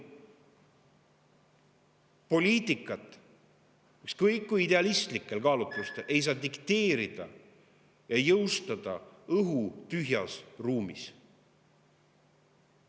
Poliitikat ei saa – ükskõik kui idealistlikel kaalutlustel – dikteerida ja jõustada õhutühjas ruumis.